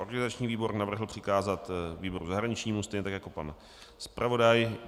Organizační výbor navrhl přikázat výboru zahraničnímu, stejně tak jako pan zpravodaj.